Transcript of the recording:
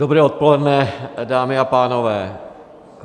Dobré odpoledne, dámy a pánové.